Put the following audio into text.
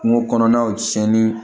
Kungo kɔnɔnaw cɛnni